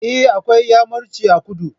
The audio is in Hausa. Eh, akwai iyamuranci a kudu